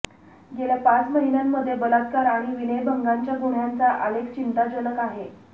गेल्या पाच महिन्यांमध्ये बलात्कार आणि विनयभंगाच्या गुन्ह्यांचा आलेख चिंताजनक आहे